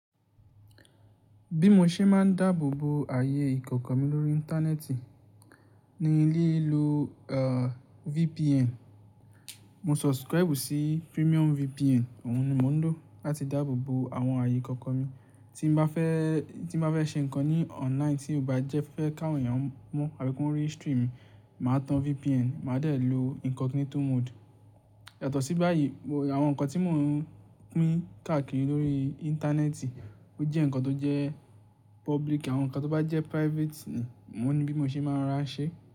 Bí mo ṣe máa ń dáàbò bo ààyè ìkọ̀kọ̀ mi lórí Íńtánẹ́ẹ̀tì ni ní lílo VPN. Mo subscribe sí premium VPN, òun ni mo ń lò láti dáàbò bo àwọn ààyè ìkọ̀kọ̀ mi. Tí mo bá fẹ́ ṣe nǹkan ní online tí ò bá jẹ́ fẹ́ káwọn èèyàn mọ̀ àbí kó rí stream mi, màá tan VPN, màá dẹ̀ ló incognito mode. Yàtọ̀ sí báyìí, àwọn nǹkan tí mo pín káàkiri lórí Íńtánẹ́ẹ̀tì ó jẹ́ nǹkan tó jẹ́ public àwọn nǹkan tó bá jẹ́ private ni mo ní bí mo ṣe máa ń ràá ṣe.